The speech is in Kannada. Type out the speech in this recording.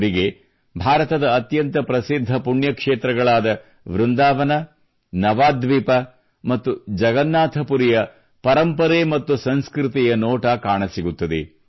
ಅವರಿಗೆ ಭಾರತದ ಅತ್ಯಂತ ಪ್ರಸಿದ್ಧ ಪುಣ್ಯಕ್ಷೇತ್ರಗಳಾದ ವೃಂದಾವನ ನವಾದ್ವೀಪ ಮತ್ತು ಜಗನ್ನಾಥ ಪುರಿಯ ಪರಂಪರೆ ಮತ್ತು ಸಂಸ್ಕೃತಿಯ ನೋಟ ಕಾಣಸಿಗುತ್ತದೆ